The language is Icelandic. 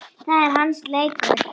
Það er hans leikur.